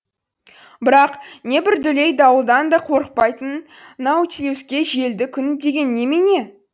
бірақ не бір дүлей дауылдан да қорықпайтын наутилуске желді күн деген немене